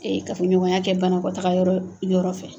Ee ka fɔɲɔgɔnya kɛ banakɔ taga yɔrɔ yɔrɔ fɛ